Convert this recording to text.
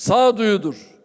Sağ duyudur.